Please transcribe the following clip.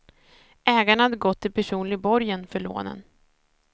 Ägarna hade gått i personlig borgen för lånen.